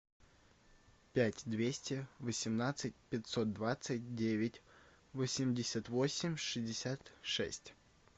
пять двести восемнадцать пятьсот двадцать девять восемьдесят восемь шестьдесят шесть